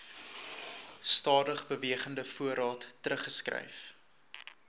stadigbewegende voorraad teruggeskryf